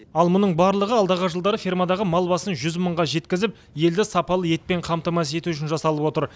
ал мұның барлығы алдағы жылдары фермадағы мал басын жүз мыңға жеткізіп елді сапалы етпен қамтамасыз ету үшін жасалып отыр